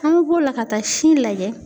An be b'o la ka taa sin lajɛ.